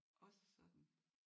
Også sådan